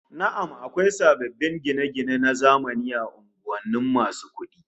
Na'am, akwai sababbin gine-gine na zamani a unguwar masu kudin